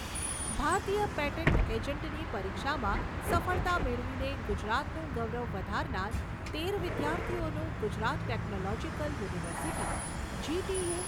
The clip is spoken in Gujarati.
ભારતીય પેટન્ટ એજન્ટની પરીક્ષામાં સફળતા મેળવીને ગુજરાતનું ગૌરવ વધારનાર તેર વિદ્યાર્થીઓનું ગુજરાત ટેકનોલોજીકલ યુનિવર્સિટી જી.ટી.યુ.